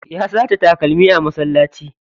Ya sace takalmi a masallaci.